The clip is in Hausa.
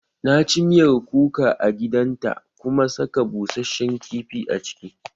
Na ci miyar kuka a gidan ta kuma saka bushashen kifi a ciki